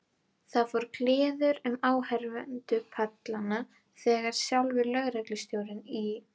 Það fór kliður um áheyrendapallana þegar sjálfur lögreglustjórinn í